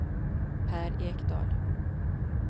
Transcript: Per Ekdahl